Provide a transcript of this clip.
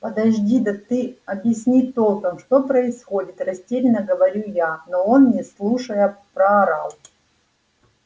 подожди да ты объясни толком что происходит растеряно говорю я но он не слушая проорал